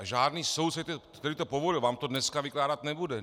A žádný soudce, který to povoluje, vám to dneska vykládat nebude.